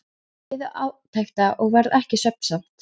Þeir biðu átekta og varð ekki svefnsamt.